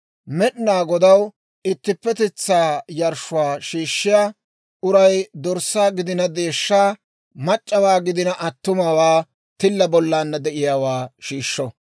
« ‹Med'inaa Godaw ittippetetsaa yarshshuwaa shiishshiyaa uray dorssaa gidina deeshshaa, mac'c'awaa gidina attumawaa tilla bollaanna de'iyaawaa shiishsho.